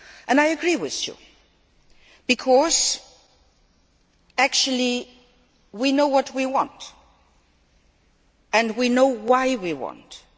I agree with you because, actually, we know what we want and we know why we want it.